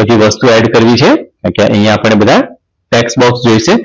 બધી વસ્તુ add કરવી છે એટલે અહીંયા આપણે બધા tax box જોઈશે